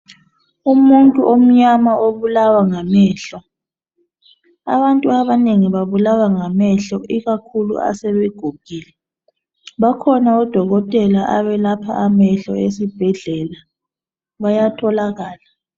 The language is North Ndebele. Umuntu omnyama obulawa ngamehlo .Abantu abanengi babulawa ngamehlo ikakhulu asebegugile, bakhona odokotela abellapha amehlo esibhedlela bayatholakala.